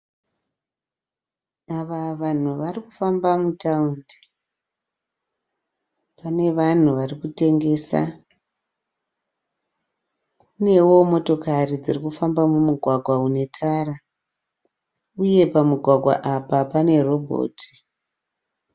Ava vanhu varikufamba mutandi pane vanhu varikutengesa kunewo motokari dziri kufamba mumugwagwa une tara uye pamugwagwa apa pane robhoti.